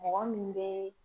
Mɔgɔ min bɛ